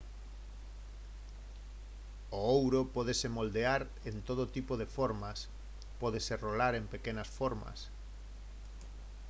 o ouro pódese moldear en todo tipo de formas pódese rolar en pequenas formas